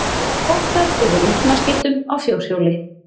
Kvartað yfir rjúpnaskyttum á fjórhjóli